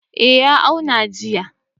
Eh ya auna jiya.